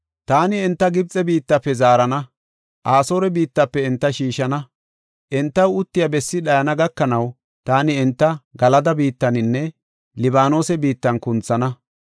“Taani enta Gibxe biittafe zaarana; Asoore biittafe enta shiishana. Entaw uttiya bessi dhayana gakanaw taani enta Galada biittaninne Libaanose biittan kunthana.